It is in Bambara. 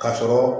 Ka sɔrɔ